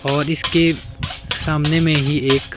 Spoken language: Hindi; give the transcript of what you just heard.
और इसके सामने में ही एक--